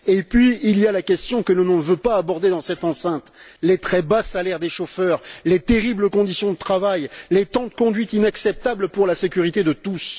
Et il y a la question que l'on ne veut pas aborder dans cette enceinte les très bas salaires des chauffeurs, les terribles conditions de travail, les temps de conduite inacceptables pour la sécurité de tous.